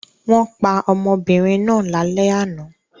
Wọ́n pa ọmọbìnrin náà lálẹ́ àná.